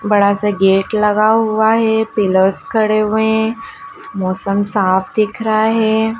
बड़ा सा गेट लगा हुआ है पिलर्स खड़े हुए मौसम साफ दिख रहा है।